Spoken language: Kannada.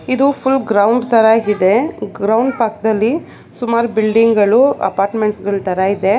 ಇದು ಫುಲ್ ಗ್ರೌಂಡ್ ತರ ಇದೆ ಗ್ರೌಂಡ್ ಪಾಕ್ದಲ್ಲಿ ಸುಮಾರ್ ಬಿಲ್ಡಿಂಗ್ ಗಳು ಅಫರ್ಮೆಂಟ್ಸ್ ಗಳ್ ತರ ಇದೆ.